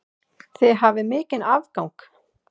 Þið hafið mikinn afgang.